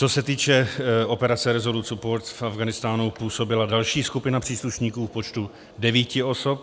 Co se týče operace Resolute Support, v Afghánistánu působila další skupina příslušníků v počtu devíti osob.